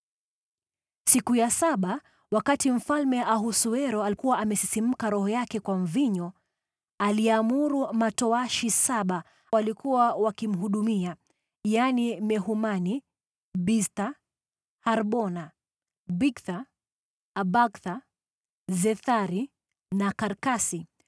Siku ya saba, wakati Mfalme Ahasuero alikuwa amesisimka roho yake kwa mvinyo, aliamuru matowashi saba waliokuwa wakimhudumia, yaani, Mehumani, Biztha, Harbona, Bigtha, Abagtha, Zethari na Karkasi,